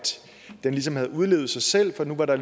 det ligesom havde udlevet sig selv for nu var der